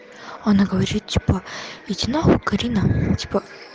она говорит типа иди на хуй карина типо